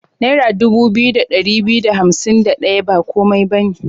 Naira dubu biyu da ɗari biyu da hansim da ɗaya ba komai ba ne.